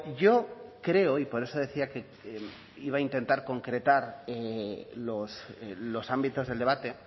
yo creo y por eso decía que lo iba a intentar concretar los ámbitos del debate